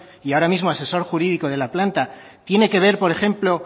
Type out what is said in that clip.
y ahora mismo asesor jurídico de la planta tiene que ver por ejemplo